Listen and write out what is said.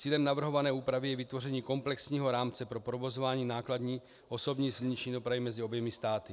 Cílem navrhované úpravy je vytvoření komplexního rámce pro provozování nákladní, osobní silniční dopravy mezi oběma státy.